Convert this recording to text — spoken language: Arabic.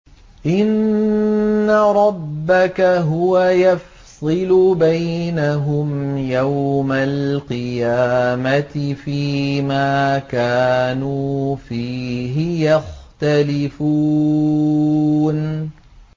إِنَّ رَبَّكَ هُوَ يَفْصِلُ بَيْنَهُمْ يَوْمَ الْقِيَامَةِ فِيمَا كَانُوا فِيهِ يَخْتَلِفُونَ